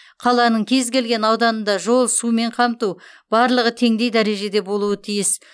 қаланың кез келген ауданында жол сумен қамту барлығы теңдей дәрежеде болуы тиіс